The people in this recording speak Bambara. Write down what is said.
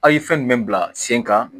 A' ye fɛn jumɛn bila sen kan